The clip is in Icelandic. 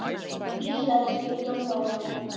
Ísraelskir dómarar í kvöld